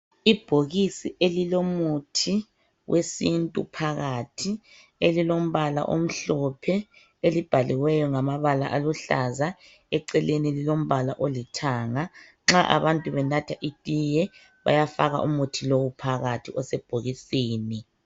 Ibhokisi elilomuthi wesintu phakathi, elilombala omhlophe, elibhaliweyo ngamabala aluhlaza, eceleni lilombala olithanga. Nxa abantu benatha itiye bayafaka umuthi lowu phakathi, osebhokisini.